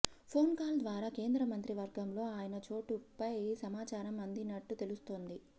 phone call ద్వారా కేంద్ర మంత్రి వర్గంలో ఆయన చోటుపై సమాచారం అందినట్లు తెలుస్తోంది